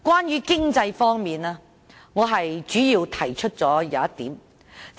在經濟方面，我在修正案中主要提出一點。